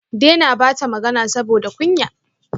Dena bata magana saboda kunya